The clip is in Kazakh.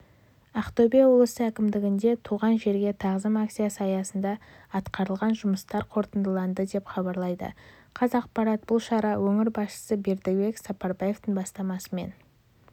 ақтөбе облысы әкімдігінде туған жерге тағзым акциясы аясында атқарылған жұмыстар қорытындыланды деп хабарлайды қазақпарат бұл шара өңір басшысы бердібек сапарбаевтың бастамасымен